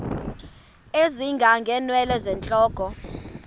ezinga ngeenwele zentloko